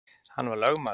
Hann var lögmaður